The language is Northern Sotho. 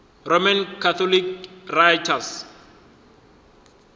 roman catholic writers